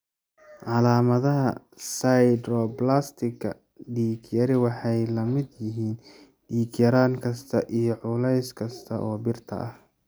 Calaamadaha 'sideroblastika dig yari waxay la mid yihiin dhiig-yaraan kasta iyo culeys kasta oo birta ah.